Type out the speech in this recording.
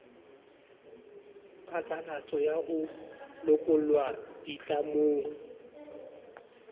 phatlalatso ya ho lokollwa ditlamong